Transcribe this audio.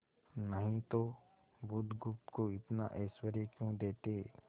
नहीं तो बुधगुप्त को इतना ऐश्वर्य क्यों देते